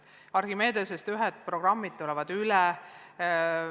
Archimedesest tulevad teatud programmid üle.